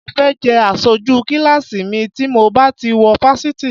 Mo fẹ́ jẹ́ aṣojú kíláàsì mi tí mo bá ti wọ fásitì